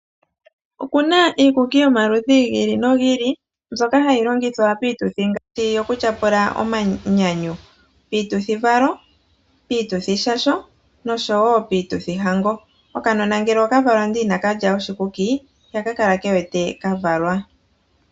Okuna iikuki yomaludhi gi ili nogi ili mbyoka hayi longithwa piituthi ngaashi yoku tyapula omanyanyu, piituthivalo, piituthishasho noshowo piituthihango. Okanona ngele oka valwa ndele ina ka lya oshikuki ihaka kala ke wete ka valwa.